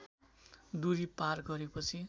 दूरी पार गरेपछि